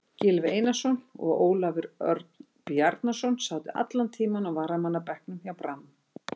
Gylfi Einarsson og Ólafur Örn Bjarnason sátu allan tímann á varamannabekknum hjá Brann.